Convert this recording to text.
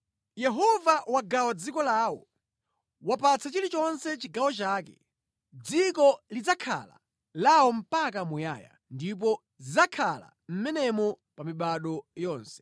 Yehova wagawa dziko lawo; wapatsa chilichonse chigawo chake. Dziko lidzakhala lawo mpaka muyaya ndipo zidzakhala mʼmenemo pa mibado yonse.